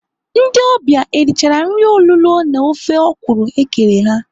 Ndị ọbịa erichara nri olulo na ofe ọkwụrụ ekere ha?